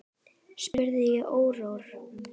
spurði ég órór.